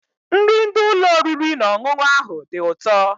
Nri ndị ụlọ oriri na ọṅụṅụ ahụ dị ụtọ.